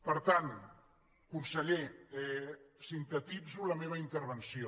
per tant conseller sintetitzo la meva intervenció